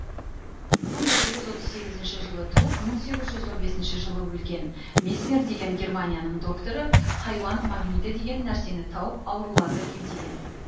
мың жеті жүз отыз сегізінші жылы туып мың сегіз жүз он бесінші жылы өлген месмер деген германияның докторы хайуан магниті деген нәрсені тауып ауруларды емдеген